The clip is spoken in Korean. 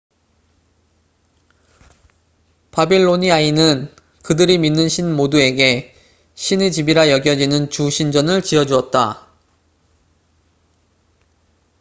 바빌로니아인은 그들이 믿는 신 모두에게 신의 집'이라 여겨지는 주 신전을 지어주었다